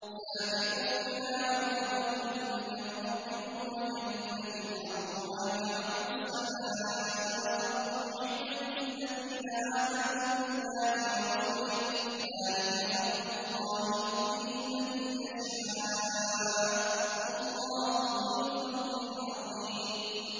سَابِقُوا إِلَىٰ مَغْفِرَةٍ مِّن رَّبِّكُمْ وَجَنَّةٍ عَرْضُهَا كَعَرْضِ السَّمَاءِ وَالْأَرْضِ أُعِدَّتْ لِلَّذِينَ آمَنُوا بِاللَّهِ وَرُسُلِهِ ۚ ذَٰلِكَ فَضْلُ اللَّهِ يُؤْتِيهِ مَن يَشَاءُ ۚ وَاللَّهُ ذُو الْفَضْلِ الْعَظِيمِ